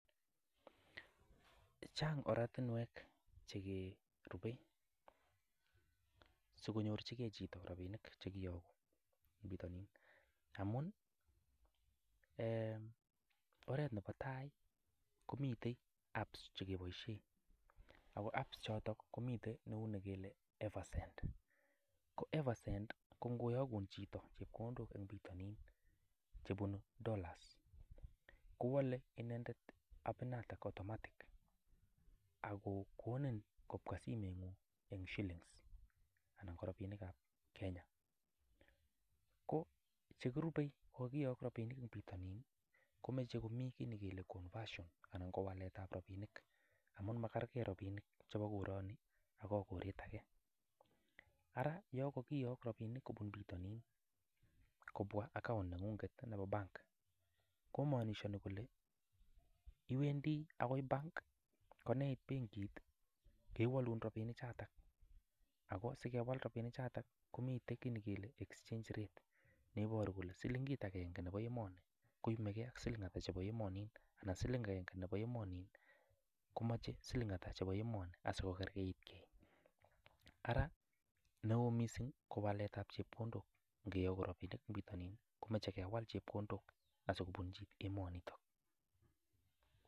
Chang oratinwek che kerupe sikonyorchige chito rabinik che kiyogu en bitonin amun, oret nebo tai komiten apps che keboisien ago apps choto komiten neu nekile Eversend. Ko Eversend ko ngoyogun chito chepkondok en bitonin chebunu dollars kowole inendet app inoto automatic ago konin kobwa simeng'ung en shillings anan korabinikab Kenya. Ko chekirube ngiyok rabinik en bitonin komoche komi kit ne kele conversion anan ko waletab rabinik amun makerge rabinik chebo koroni ak koret age. Ara yon kogiyok robinik kobun bitonin kobwa account neng'ung'et nebo bank kamaanishoni kole iwendi agoi bank koyeit benkit kewolun rabinik choto ago sikewal rabinik choto komi kit ne kele exchange rate neiboru kole silingit agenge nebo emoni koyomege ak siling ata chebo emonin anan siling ata chebo emonin komoche siling ata chebo emoni asikokerkeit. Ara neo mising kowaletab chepkondok ngiyogu rabinik en bitonin komoche kewal chepkondok asikobunchi emonito.